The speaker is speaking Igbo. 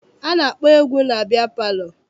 A na-akpọ egwu na biya palọ.